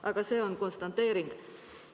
Aga see on konstateering.